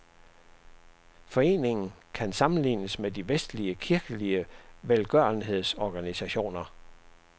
Foreningen kan sammenlignes med de vestlige kirkelige velgørenhedsorganisationer.